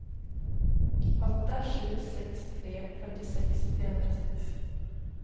åtta sju sex tre fyrtiosex trehundrasex